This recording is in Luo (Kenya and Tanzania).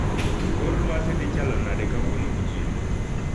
Kor lwasi dhi chalo nade kawuono gotieno